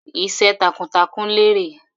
Iṣẹ́ takuntakun lérè.